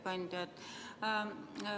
Hea ettekandja!